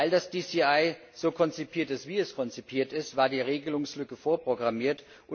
Weil das DCI so konzipiert ist, wie es konzipiert ist, war die Regelungslücke vorprogrammiert.